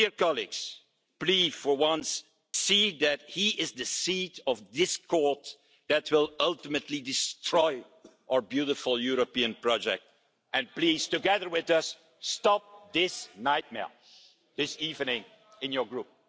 Dear colleagues, please for once see that he is the seed of discord that will ultimately destroy our beautiful European project and please, together with us, stop this nightmare this evening in your Group.